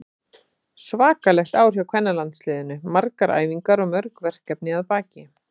Svakalegt ár hjá kvennalandsliðinu, margar æfingar og mörg verkefni að baki.